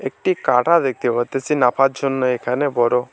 একটি কাটা দেখতে পারতাসি নাপার জন্য এখানে বড়ো।